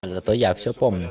зато я все помню